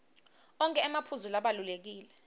onkhe emaphuzu labalulekile